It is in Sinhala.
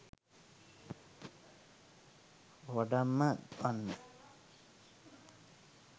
වඩම්ම වන්න.